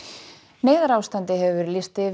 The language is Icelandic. neyðarástandi hefur verið lýst yfir